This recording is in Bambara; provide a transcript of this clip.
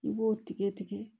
I b'o tigɛ tigɛ